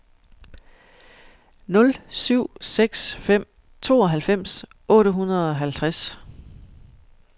nul syv seks fem tooghalvfems otte hundrede og halvtreds